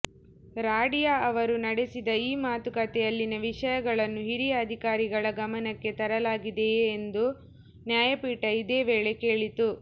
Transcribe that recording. ರಾಡಿಯಾ ಅವರು ನಡೆಸಿದ ಈ ಮಾತುಕತೆಯಲ್ಲಿನ ವಿಷಯಗಳನ್ನು ಹಿರಿಯ ಅಧಿಕಾರಿಗಳ ಗಮನಕ್ಕೆ ತರಲಾಗಿದೆಯೇ ಎಂದೂ ನ್ಯಾಯಪೀಠ ಇದೇ ವೇಳೆ ಕೇಳಿತು